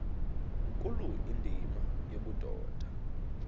nkulu indima yobudoda